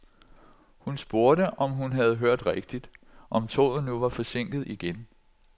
Hun spurgte, om hun havde hørt rigtigt, om toget nu var forsinket igen.